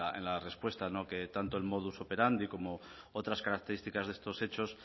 en la respuesta que tanto el modus operandi como otras características de estos hechos